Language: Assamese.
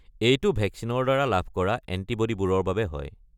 এইটো ভেকচিনৰ দ্বাৰা লাভ কৰা এণ্টিব'ডিবোৰৰ বাবে হয়।